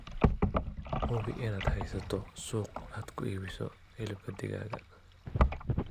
Hubi inaad haysato suuq aad ku iibiso hilibka digaaga.